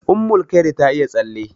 Ummulkhairi ta iya tsalle.